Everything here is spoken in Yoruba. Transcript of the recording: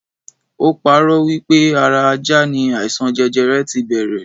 Ó parọ́ wipe ara ajá ni aisan jẹjẹrẹ ti bẹrẹ